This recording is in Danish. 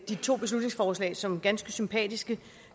de to beslutningsforslag som ganske sympatiske